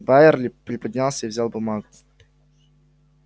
байерли приподнялся и взял бумагу